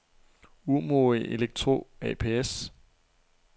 Umoe Elektro ApS